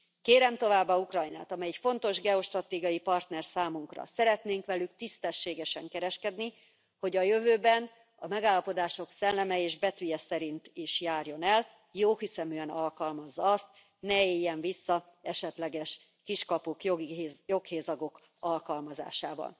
Kérem továbbá Ukrajnát, amely fontos geostratégiai partner számunkra, szeretnénk velük tisztességesen kereskedni, hogy a jövőben a megállapodások szelleme és betűje szerint is járjon el, jóhiszeműen alkalmazza azt, ne éljen vissza esetleges kiskapuk, joghézagok alkalmazásával.